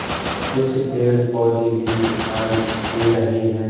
कुछ पेड़ पौधे भी दिखाई दे रहे हैं।